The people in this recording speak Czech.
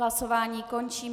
Hlasování končím.